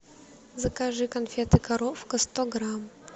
закажи конфеты коровка сто грамм